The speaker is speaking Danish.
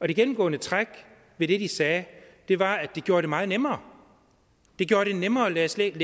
det gennemgående træk ved det de sagde var at det gjorde det meget nemmere det gjorde det nemmere at læse